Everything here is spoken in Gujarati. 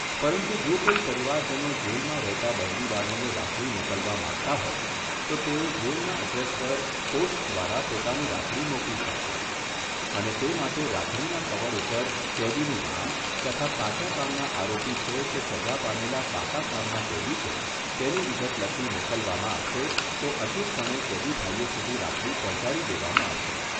પરંતુ જો કોઈ પરિવારજનો જેલમાં રહેતા બંદીવાનોને રાખડી મોકલવા માંગતા હોય તો તેઓ જેલના અડ્રેસ પર પોસ્ટ દ્વારા પોતાની રાખડી મોકલી શકશે અને તે માટે રાખડીના કવર ઉપર કેદીનું નામ તથા કાચા કામના આરોપી છે કે સજા પામેલ પાકા કામના કેદી છે, તેની વિગત લખી મોકલવામાં આવશે, તો અચૂકપણે કેદીભાઈઓ સુધી રાખડી પહોંચાડી દેવામાં આવશે.